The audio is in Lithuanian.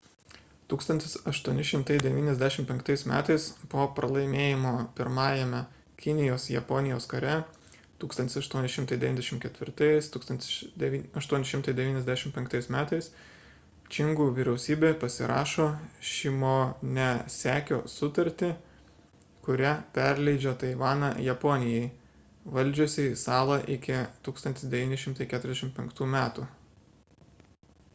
1895 m. po pralaimėjimo pirmajame kinijos-japonijos kare 1894–1895 m. čingų vyriausybė pasirašo šimonesekio sutartį kuria perleidžia taivaną japonijai valdžiusiai salą iki 1945 m